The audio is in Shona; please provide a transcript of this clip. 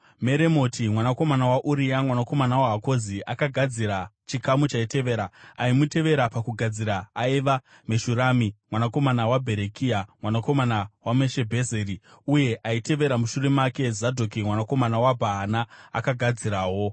Meromoti mwanakomana waUria, mwanakomana waHakozi akagadzira chikamu chaitevera. Aimutevera pakugadzira aiva Meshurami mwanakomana waBherekia, mwanakomana waMeshebhezeri, uye aitevera mushure make, Zadhoki mwanakomana waBhaana, akagadzirawo.